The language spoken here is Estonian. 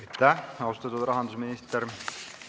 Aitäh, austatud rahandusminister!